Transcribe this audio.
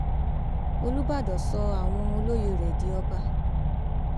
olùbàdàn sọ àwọn olóyè rẹ di ọba